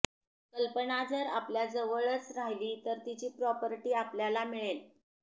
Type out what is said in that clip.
कल्पना जर आपल्याजवळच राहिली तर तिची प्रॉपर्टी आपल्याला मिळेल